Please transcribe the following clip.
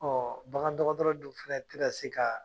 Ɔ bagan dɔgɔtɔrɔ dun fɛnɛ tɛna se ka